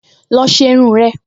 Lọ ṣe irun rẹ!